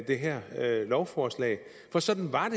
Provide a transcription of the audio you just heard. det her lovforslag for sådan var